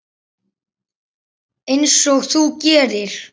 Einsog þú gerir?